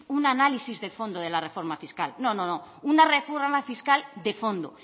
un análisis del fondo de la reforma fiscal no una reforma fiscal de fondo